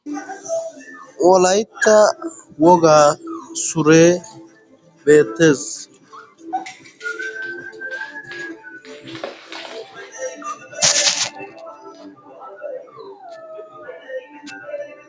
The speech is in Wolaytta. wolaitta wogaa sure beettees